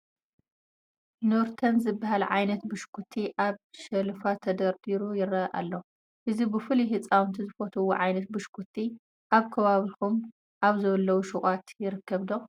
Nurten ዝበሃል ዓይነት ብሽኩቲ ኣብ ሸልፍ ተደርዲሩ ይርአ ኣሎ፡፡ እዚ ብፍላይ ህፃውቲ ዝፈትዉዎ ዓይነት ብሽኩቲ ኣብ ከባቢኹም ኣብ ዘለዉ ሹቓት ይርከብ ዶ?